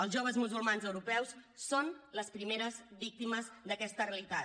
els joves musulmans europeus són les primeres víctimes d’aquesta realitat